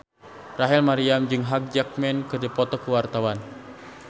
Rachel Maryam jeung Hugh Jackman keur dipoto ku wartawan